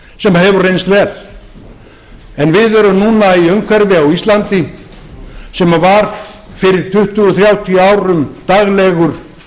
sem hefur reynst vel við erum núna í umhverfi á íslandi sem var fyrir tuttugu þrjátíu árum daglegur